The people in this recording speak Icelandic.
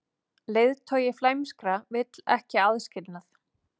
Leiðtogi flæmskra vill ekki aðskilnað